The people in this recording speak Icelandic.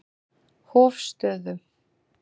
Hofstöðum